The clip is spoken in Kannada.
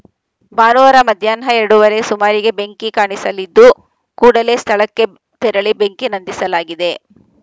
ಭಾನುವಾರ ಮಧ್ಯಾಹ್ನ ಎರಡುವರೆಯ ಸುಮಾರಿಗೆ ಬೆಂಕಿ ಕಾಣಿಸಿಕೊಂಡಿದ್ದು ಕೂಡಲೇ ಸ್ಥಳಕ್ಕೆ ತೆರಳಿ ಬೆಂಕಿ ನಂದಿಸಲಾಗಿದೆ